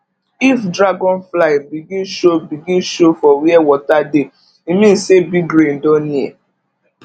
if dragonfly begin show begin show for where water dey e mean say big rain don near